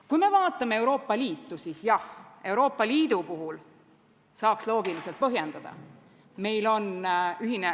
Kui me vaatame Euroopa Liitu, siis jah, Euroopa Liidu puhul saaks loogiliselt põhjendada.